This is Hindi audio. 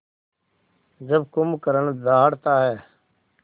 जब कुंभकर्ण दहाड़ता है